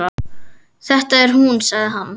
Þetta er hún sagði hann.